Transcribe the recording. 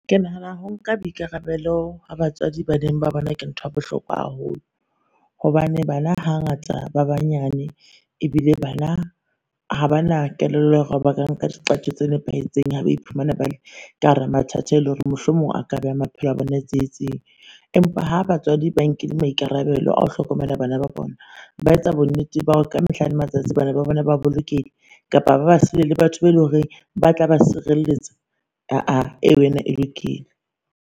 Ka mehlala ya bona, ba re hopotsa hore na ho bolelang ho nka boikarabelo esita le ho ikarabella ho ba bang.